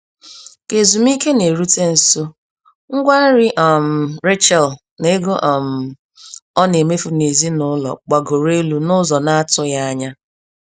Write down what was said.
Ka ezumiike na-erute nso, ngwa nri um Rachel na ego um ọ na-emefu n'ezinụlọ gbagoro elu n'ụzọ na-atụghị anya.